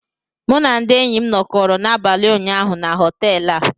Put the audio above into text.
M na ndị enyi m nọkọrọ n'abalị ụnyaahụ na họtel a